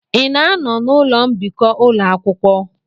Ị na-anọ n'ụlọ mbikọ ụlọ akwụkwọ?